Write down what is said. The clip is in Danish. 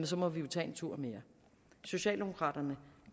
så må vi jo tage en tur mere socialdemokraterne